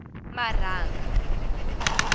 marhanga